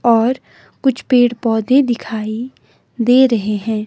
और कुछ पेड़ पौधे दिखाई दे रहे हैं।